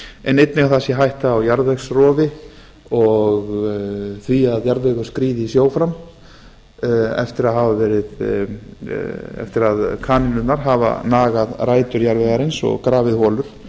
en einnig að það sé hætta á jarðvegsrofi og því að jarðvegurinn skríði í sjó fram eftir að kanínurnar hafa nagað rætur jarðvegsins og grafið holur